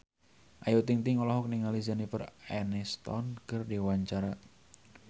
Ayu Ting-ting olohok ningali Jennifer Aniston keur diwawancara